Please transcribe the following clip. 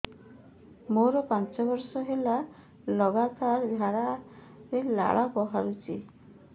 ମୋରୋ ପାଞ୍ଚ ବର୍ଷ ହେଲା ଲଗାତାର ଝାଡ଼ାରେ ଲାଳ ବାହାରୁଚି